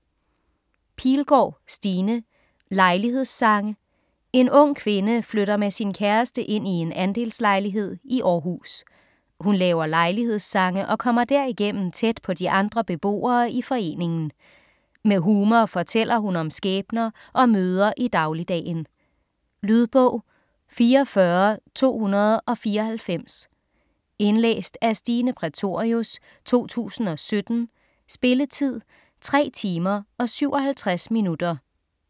Pilgaard, Stine: Lejlighedssange En ung kvinde flytter med sin kæreste ind i en andelslejlighed i Århus. Hun laver lejlighedssange og kommer derigennem tæt på de andre beboere i foreningen. Med humor fortæller hun om skæbner og møder i dagligdagen. Lydbog 44294 Indlæst af Stine Prætorius, 2017. Spilletid: 3 timer, 57 minutter.